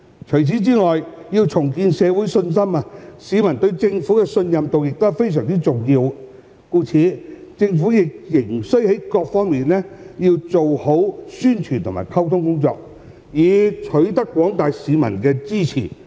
除此以外，要重建社會信心，市民對政府的信任度亦非常重要，故此政府仍須在各方面做好宣傳和溝通工作，以取得廣大市民的支持。